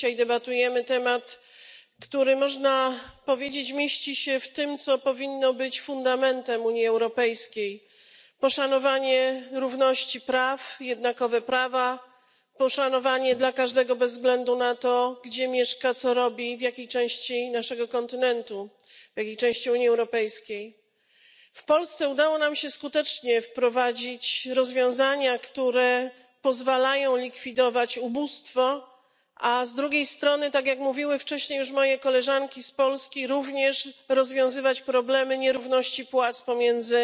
To temat, który, można powiedzieć, mieści się w tym, co powinno być fundamentem Unii Europejskiej poszanowanie równości praw, jednakowe prawa, uszanowanie każdego bez względu na to, gdzie mieszka, co robi i w jakiej części naszego kontynentu, w jakiej części Unii Europejskiej. W Polsce udało nam się skutecznie wprowadzić rozwiązania, które pozwalają likwidować ubóstwo, a z drugiej strony, tak jak mówiły wcześniej już moje koleżanki z Polski, również rozwiązywać problemy nierówności płac pomiędzy